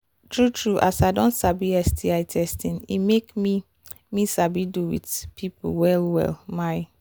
true true as i don sabi sti testing e make me me sabi do with people well well my